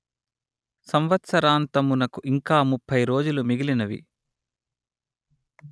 సంవత్సరాంతమునకు ఇంకా ముప్పై రోజులు మిగిలినవి